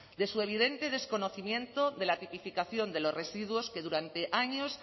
de su evidente desconocimiento de la tipificación de los residuos que durante años